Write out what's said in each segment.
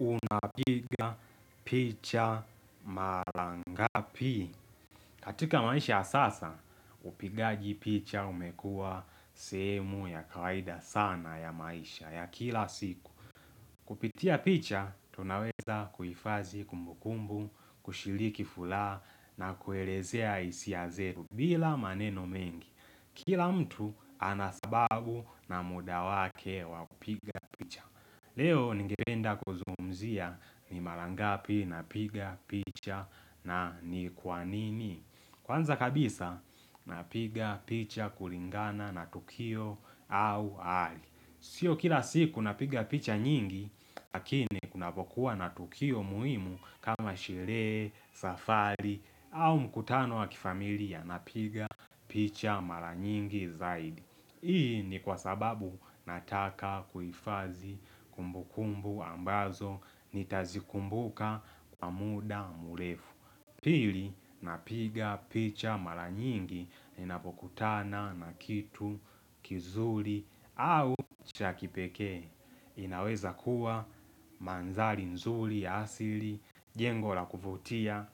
Unapiga picha marangapi katika maisha sasa, upigaji picha umekua sehemu ya kawaida sana ya maisha ya kila siku Kupitia picha, tunaweza kuifadhii kumbukumbu, kushiliki furaha na kuelezea hiisi zetu bila maneno mengi, kila mtu anasababu na muda wake kupiga picha Leo nigependa kuzungumzia ni marangapi na piga, na ni kwanini. Kwanza kabisa na piga, picha, kulingana na tukio au hali. Sio kila siku na piga picha nyingi, lakini kuna pokua na tukio muhimu kama sherehe, safari au mkutano wa kifamilia na piga picha mara nyingi zaidi. Hii ni kwa sababu nataka kuifadhii kumbu kumbu ambazo nitazikumbuka kwa muda murefu. Pili napiga picha mara nyingi inapokutana na kitu kizuli au chakipekee. Inaweza kuwa mandhari nzuli ya asili, jengo la kuvutia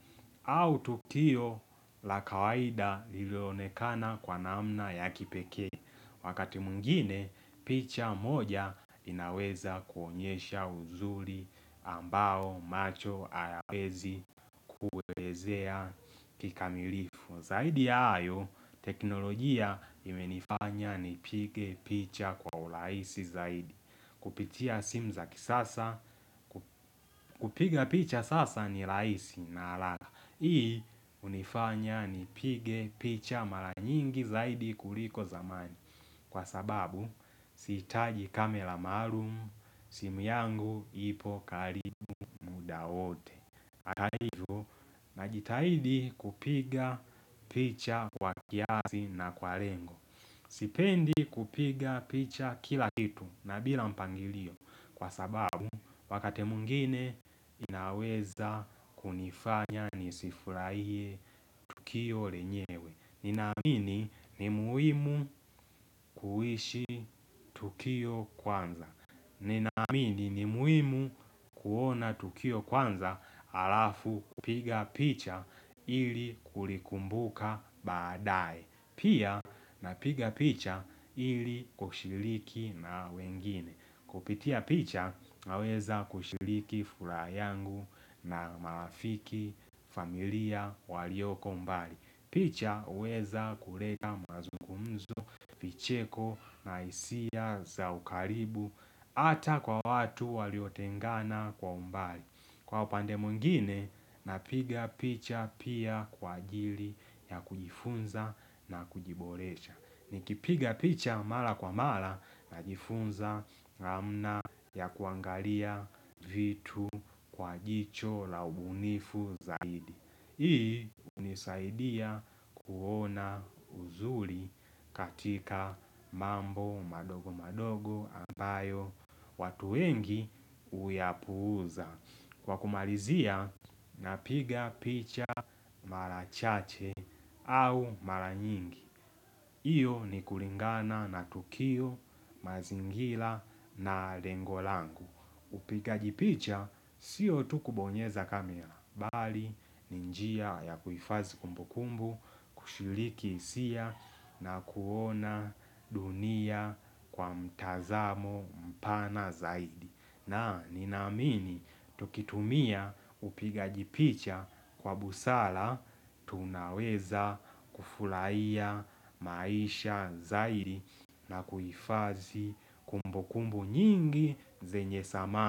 au tukio la kawaida lilionekana kwa namna ya kipekee. Wakati mwingine, picha moja inaweza kuonyesha uzuri ambao macho hayawezi kuelezea kikamilifu. Zaidi ayo, teknolojia imenifanya ni pige picha kwa ulaisi zaidi. Kupitia simu za kisasa, kupiga picha sasa ni rahisi na haraka. Hii hunifanya ni pige picha mara nyingi zaidi kuliko zamani. Kwa sababu sitaji kamera maalumu simu yangu ipo karibu muda wote Atahivo na jitahidi kupiga picha kwa kiasi na kwa lengo Sipendi kupiga picha kila kitu na bila mpangilio Kwa sababu wakate mwingine inaweza kunifanya nisifuraiye tukio lenyewe Ninamini ni muhimu kuhishi tukio kwanza. Ninaamini ni muhimu kuona tukio kwanza alafu kupiga picha ili kulikumbuka baadae. Pia napiga picha ili kushiliki na wengine. Kupitia picha naweza kushiliki furaha yangu na marafiki familia walioko mbali. Picha huweza kuleta mazungumzo, picheko na hisia za ukaribu ata kwa watu waliotengana kwa mbali. Kwa upande mwingine napiga picha pia kwa ajili ya kujifunza na kujiboresha Nikipiga picha mara kwa mara na jifunza na mna ya kuangalia vitu kwa jicho la ubunifu zaidi Hii hunisaidia kuona uzuri katika mambo madogo madogo ambayo watu wengi huyapuza Kwa kumalizia, napiga picha marachache au maranyingi. Iyo ni kulingana na tukio, mazingira na lengolangu. Upiga jipicha, sio tukubonyeza kamera. Bali, ninjia ya kuhifadhi kumbukumbu, kushiliki hisia na kuona dunia kwa mtazamo mpana zaidi. Na ninaamini tukitumia upiga jipicha kwa busara tunaweza kufurahia maisha zaidi na kuifadhi kumbu kumbu nyingi zenye thamani.